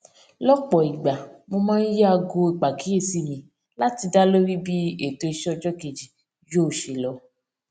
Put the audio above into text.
lópò ìgbà mo máa ń yí aago ìpàkíyèsí mi láti dá lórí bí ètò iṣẹ ọjọ kejì yóò ṣe lọ